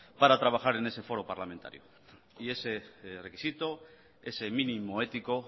para trabajar en ese foro parlamentario y ese requisito ese mínimo ético